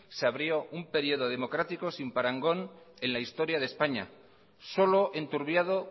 se abrió un periodo democrático sin parangón en la historia de españa solo enturbiado